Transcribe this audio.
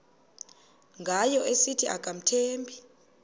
ngayo esithi akamthembi